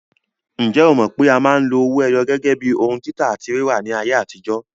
Ǹjẹ́ o mọ̀ pé a máa ń lo owó ẹyọ gẹ́gẹ́ bíi ohun títà àti rírà ní ayé àtijó?